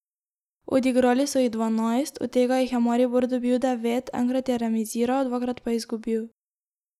Odigrali so jih dvanajst, od tega jih je Maribor dobil devet, enkrat je remiziral, dvakrat pa izgubil.